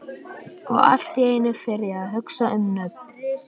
Og allt í einu fer ég að hugsa um nöfn.